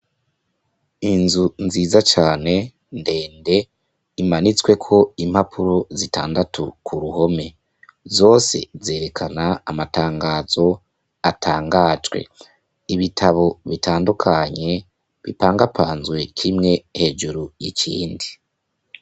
Inzu nziza cane, ndende imanitsweko impapuro zitandatu Kuruhome, zose zerekana amatangazo atangajwe, ibitabo bitandukanye, bipangapanzwe, kimwe hejuru ikindi.